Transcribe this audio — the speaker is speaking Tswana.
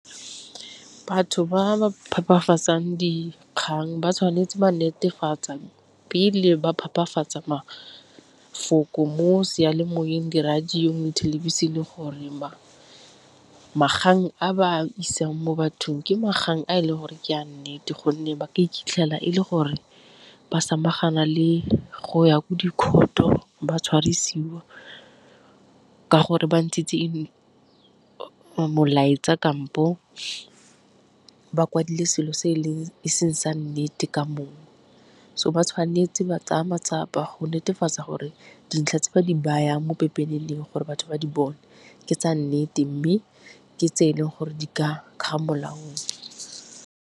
Batho ba ba phepafatsang dikgang ba tshwanetse ba netefatse pele ba phepafatsa mafoko mo seyalemoweng, di-radio, thelebišene gore a ba a isang mo bathong ke a e leng gore ke a nnete gonne ba ka iphitlhela e le gore ba samagana le go ya ko di-court-o ba tshwarisiwa ka gore ba ntshitse molaetsa kampo ba kwadilwe selo se e seng sa nnete ka moo. So ba tshwanetse ba tsaya matsapa go netefatsa gore dintlha tse ba di bayang mo pepeneneng gore batho ba di bone ke tsa nnete, mme ke tse e leng gore di ka fa molaong.